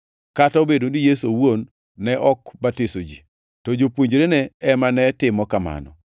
kata obedo ni Yesu owuon ne ok batiso ji, to jopuonjrene ema ne timo kamano.